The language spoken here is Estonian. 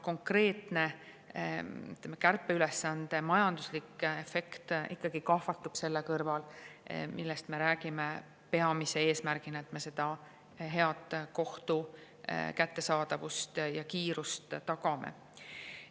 Konkreetne kärpeülesande majanduslik efekt ikkagi kahvatub selle kõrval, millest me räägime peamise eesmärgina: et me tagame kohtupidamise hea kättesaadavuse ja kiiruse.